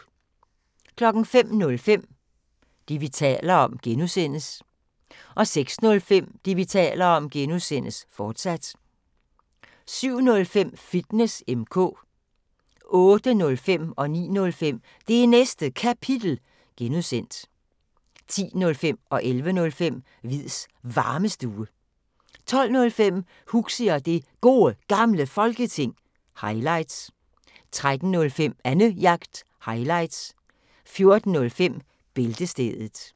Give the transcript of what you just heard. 05:05: Det, vi taler om (G) 06:05: Det, vi taler om (G), fortsat 07:05: Fitness M/K 08:05: Det Næste Kapitel (G) 09:05: Det Næste Kapitel (G) 10:05: Hviids Varmestue 11:05: Hviids Varmestue 12:05: Huxi og Det Gode Gamle Folketing – highlights 13:05: Annejagt – highlights 14:05: Bæltestedet